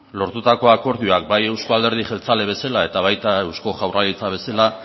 lortutako akordioak bai euzko alderdi jeltzale eta baita eusko jaurlaritza bezala